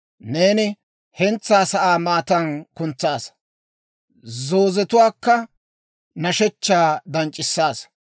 Neeni hentsaa sa'aa maatan kuntsaassa; zoozetuwaakka nashshechchaa danc'c'isaasa.